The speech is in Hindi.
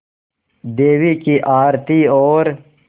देवी की आरती और